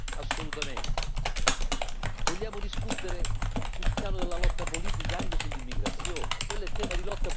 Vogliamo discutere sul piano della lotta politica, anche sull'immigrazione, quello è tema di lotta politica, non attiene alla democrazia.